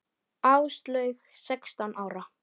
Áslaug sextán ára.